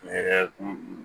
Ne yɛrɛ kun